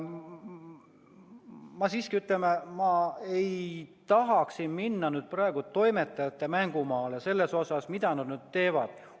Ma siiski ei tahaks siin minna praegu toimetajate mängumaale selles osas, mida nad teevad.